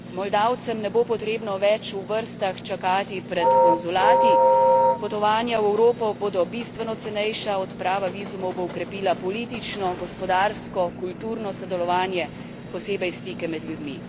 Moldavcem ne bo potrebno več v vrstah čakati pred konzulati, potovanja v Evropo bodo bistveno cenejša, odprava vizumov bo okrepila politično, gospodarsko, kulturno sodelovanje, posebej stike med ljudmi.